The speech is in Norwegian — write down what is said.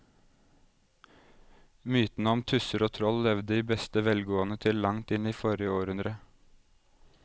Mytene om tusser og troll levde i beste velgående til langt inn i forrige århundre.